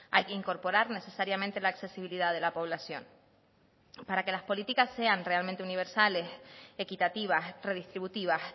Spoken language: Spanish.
hay que incorporar necesariamente la accesibilidad de la población para que las políticas sean realmente universales equitativas redistributivas